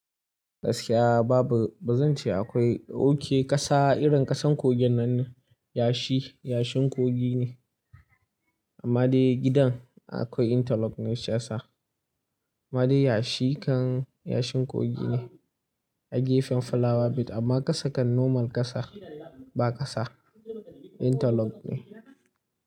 Gaskiya babu, ba zan ce akwai oke ƙasa irin ƙasan kogin nan ne yashi, yashin kogi ne. Amma dai gidan akwai interlock ne shiyasa. Amma dai yashi kan yashin kogi ne a gefen flower but amma ƙasa kan normal ƙasa ba ƙasa interlock ne.